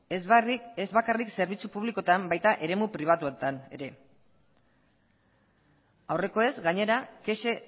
ez bakarrik zerbitzu publikoetan baita eremu pribatuetan ere aurrekoez gainera kexa